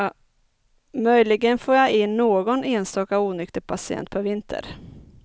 Möjligen får jag in någon enstaka onykter patient per vinter.